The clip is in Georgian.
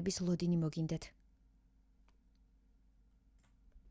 ლოდინი მოგინდეთ